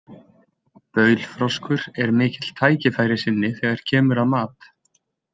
Baulfroskur er mikill tækifærissinni þegar kemur að mat.